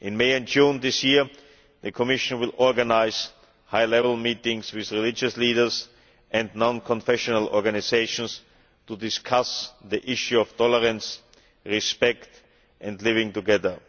In May and June this year the Commission will organise high level meetings with religious leaders and non confessional organisations to discuss the issue of tolerance, respect and living together.